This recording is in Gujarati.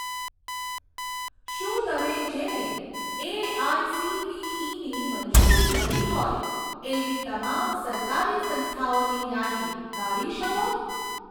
શું તમે જેને એઆઇસીટીઇની મંજૂરી મળી હોય એવી તમામ સરકારી સંસ્થાઓની યાદી કાઢી શકો?